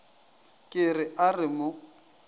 ke re a re mo